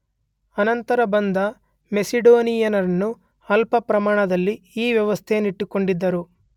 ಅನಂತರ ಬಂದ ಮೆಸಿಡೋನಿಯನ್ನರೂ ಅಲ್ಪಪ್ರಮಾಣದಲ್ಲಿ ಈ ವ್ಯವಸ್ಥೆಯನ್ನಿಟ್ಟುಕೊಂಡಿದ್ದರು.